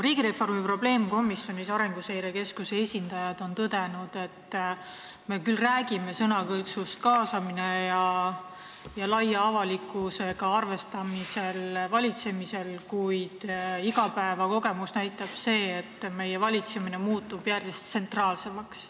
Riigireformi probleemkomisjonis on Arenguseire Keskuse esindajad tõdenud, et me küll räägime sõnakõlksust "kaasamine" ja laia avalikkusega arvestamisest valitsemisel, kuid igapäevakogemused näitavad, et Eesti valitsemine muutub järjest tsentraalsemaks.